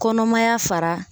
Kɔnɔmaya fara